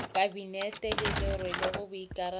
kabinete le le rwelego boikarabelo